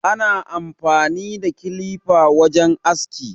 Ana amfani da kilifa wajen aski.